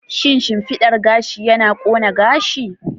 Shin shimfidar gashi yana ƙone gashi?